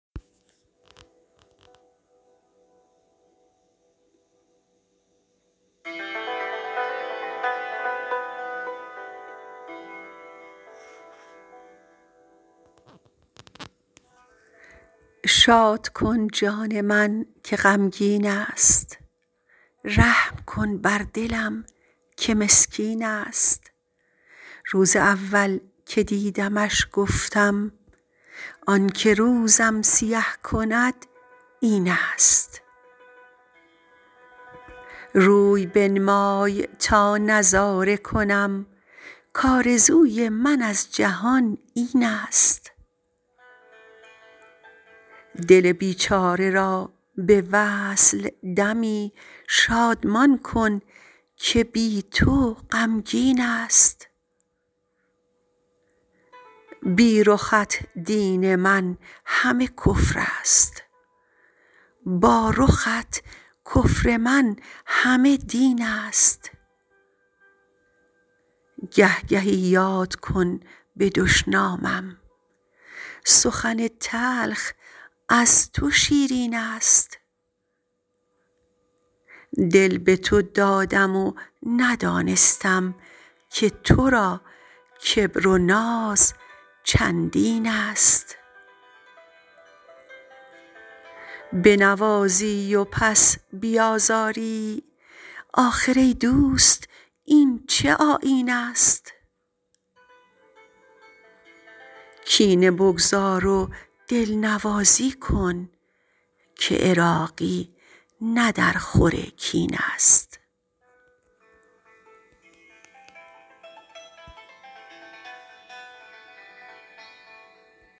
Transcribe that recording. شاد کن جان من که غمگین است رحم کن بر دلم که مسکین است روز اول که دیدمش گفتم آنکه روزم سیه کند این است روی بنمای تا نظاره کنم کآرزوی من از جهان این است دل بیچاره را به وصل دمی شادمان کن که بی تو غمگین است بی رخت دین من همه کفر است با رخت کفر من همه دین است گه گهی یاد کن به دشنامم سخن تلخ از تو شیرین است دل به تو دادم و ندانستم که تو را کبر و ناز چندین است بنوازی و پس بیازاری آخر ای دوست این چه آیین است کینه بگذار و دلنوازی کن که عراقی نه در خور کین است